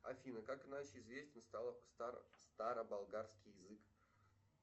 афина как иначе известен старо болгарский язык